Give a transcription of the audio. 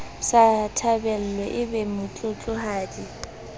sa thabelwe e be motlotlohadi